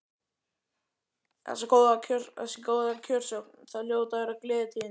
Þessi góða kjörsókn, það hljóta að vera gleðitíðindi?